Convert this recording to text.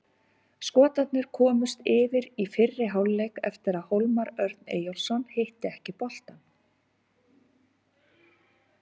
Skotarnir komust yfir í fyrri hálfleik eftir að Hólmar Örn Eyjólfsson hitti ekki boltann.